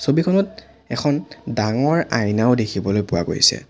ছবিখনত এখন ডাঙৰ আইনাও দেখিবলৈ পোৱা গৈছে।